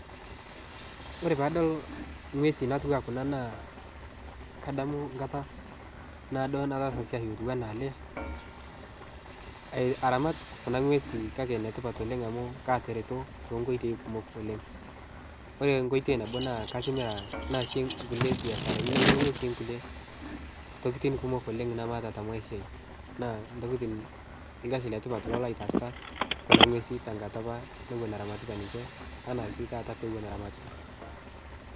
Ore paadol ng'wesi natuwaa kuna naa kadamu nkata naodo nataasa siai lotuwana ale ai aramat kuna ng'wesi kake netipat oleng' amu katereto tenkoitoi kumok oleng'. Ore nkoitoi nabo naa katimira naase nkule biasharani nainyeng'unye sii nkule tokitin kumok oleng' namaata ta maisha ai naa ntokitin lgasi letipat ilo laitaasita kuna ng'wesi tenkata apa newon aramatita ninche ana sii taata pewon aramatita.